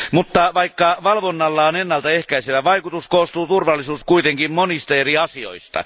Mutta vaikka valvonnalla on ennaltaehkäisevä vaikutus, koostuu turvallisuus kuitenkin monista eri asioista.